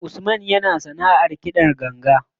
Usman yana sanaʼar kiɗan ganga.